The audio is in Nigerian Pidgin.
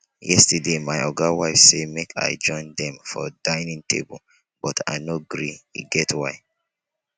yestersday my oga wife say make i join dem for dining table but i no gree e get why